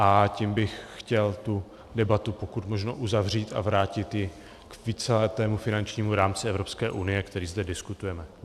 A tím bych chtěl tu debatu pokud možno uzavřít a vrátit ji k víceletému finančnímu rámci Evropské unie, který zde diskutujeme.